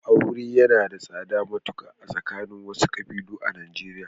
Aure yana da tsada matuƙa a tsakanin wasu ƙabilun Najeriya.